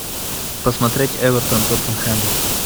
посмотреть эвертон тоттенхэм